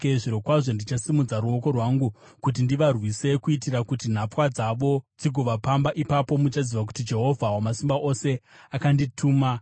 zvirokwazvo ndichasimudza ruoko rwangu kuti ndivarwise kuitira kuti nhapwa dzavo dzigovapamba. Ipapo muchaziva kuti Jehovha Wamasimba Ose akandituma.